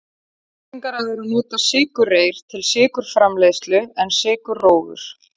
Algengara er að nota sykurreyr til sykurframleiðslu en sykurrófur.